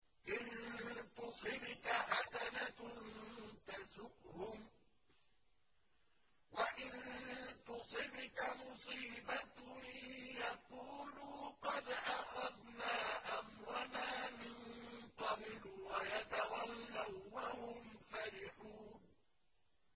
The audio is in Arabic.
إِن تُصِبْكَ حَسَنَةٌ تَسُؤْهُمْ ۖ وَإِن تُصِبْكَ مُصِيبَةٌ يَقُولُوا قَدْ أَخَذْنَا أَمْرَنَا مِن قَبْلُ وَيَتَوَلَّوا وَّهُمْ فَرِحُونَ